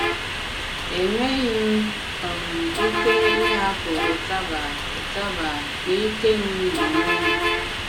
Enwèghị m um ike ịhàpụ̀ ụtabà ụtabà n’ìke m onwe m.